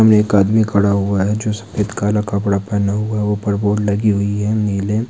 सामने एक आदमी खड़ा हुआ है जो सफेद काला कपड़ा पहना हुआ है ऊपर बोर्ड लगी हुई है नीले --